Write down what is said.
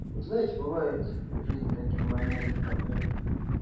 вот знаете бывает в жизни такие моменты когда